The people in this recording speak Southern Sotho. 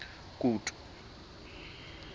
kutu